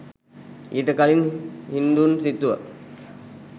ඊට කලින් හින්දූන් සිතුව